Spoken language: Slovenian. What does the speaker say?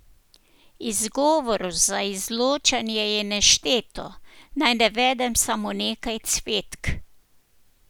Izgovorov za izločanje je nešteto, naj navedem samo nekaj cvetk.